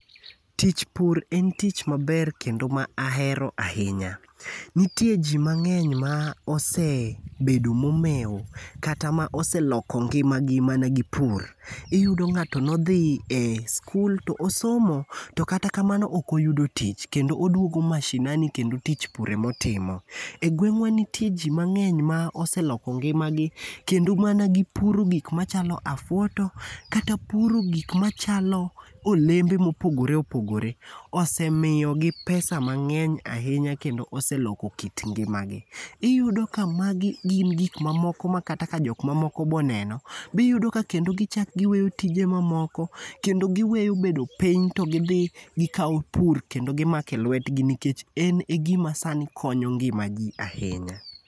Tich pur en tich maber kendo ma ahero ahinya. Nitie ji mang'eny ma osebedo momew kata ma oseloko ngimagi mana gi pur. Iyudo ng'ato nodhi e sikul to osomo to katamano ok oyudo tich kendo oduogo mashinani kendo tich pur ema otimo. E gweng'wa nitie ji mang'eny moseloko ngima gi kendo mana gipuro gik machalo afuoto kata puro gik machalo olembe ma opogore opogore osemiyogi pesa mang'eny ahinya kendo oseloko kit ngima gi. Iyudo ka magi gin ma moko makata kata jok mamoko be oneno be iyudo ka kendo gichak giweyo tije mamoko kendo giweyo bedo piny to gidhi gikawo pur kendo gimako e lwetgi nikech en e gima sani konyo ngima ji ahinya.